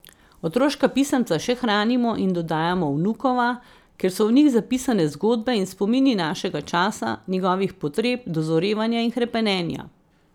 Otroška pisemca še hranimo in dodajamo vnukova, ker so v njih zapisane zgodbe in spomini našega časa, njegovih potreb, dozorevanja in hrepenenja.